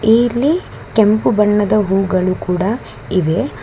ಇಲ್ಲಿ ಕೆಂಪು ಬಣ್ಣದ ಹೂಗಳು ಕೂಡ ಇವೆ.